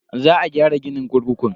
Za a gyara ginin kurkukun.